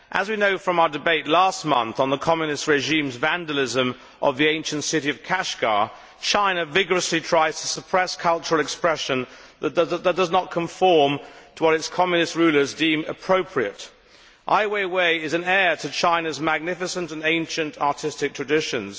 As we know from our debate last month on the Communist regime's vandalism of the ancient city of Kashgar, China vigorously tries to suppress cultural expression that does not conform to what its Communist rulers deem appropriate. Ai Weiwei is an heir to China's magnificent and ancient artistic traditions.